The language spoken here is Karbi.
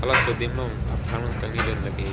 haso adim long aprang long kangni lun lake--